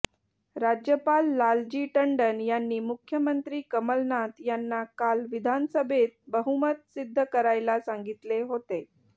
राज्यपाल लालजी टंडन यांनी मुख्यमंत्री कमलनाथ यांना काल विधानसभेत बहुमत सिद्ध करायला सांगितले होते